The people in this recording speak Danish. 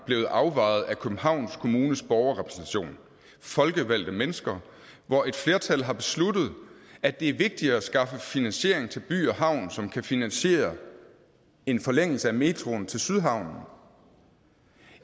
blevet afvejet af københavns kommunes borgerrepræsentation folkevalgte mennesker hvor et flertal har besluttet at det er vigtigere at skaffe finansieringen til by havn som kan finansiere en forlængelse af metroen til sydhavnen